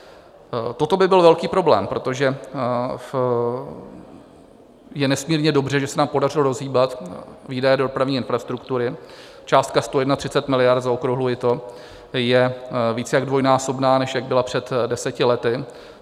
Toto by byl velký problém, protože je nesmírně dobře, že se nám podařilo rozhýbat výdaje do dopravní infrastruktury, částka 131 miliard, zaokrouhluji to, je více jak dvojnásobná, než jak byla před deseti lety.